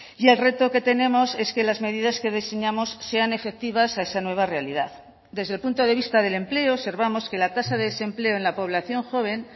y el reto que tenemos es que las medidas que diseñamos sean efectivas a esa nueva realidad desde el punto de vista del empleo observamos que la tasa de desempleo en la población joven